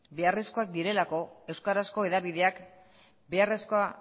beharrezkoak direlako euskarazko hedabideak beharrezkoa